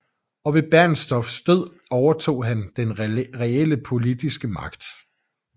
Og ved Bernstorffs død overtog han den reelle politiske magt